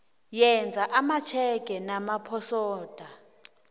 yenza amatjhege namaposoda